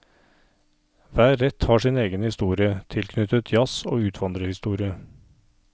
Hver rett har sin egen historie, tilknyttet jazz og utvandrerhistorie.